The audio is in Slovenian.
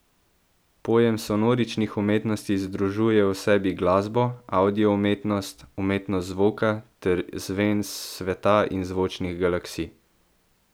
Pojem sonoričnih umetnosti združuje v sebi glasbo, avdio umetnost, umetnost zvoka ter zven sveta in zvočnih galaksij.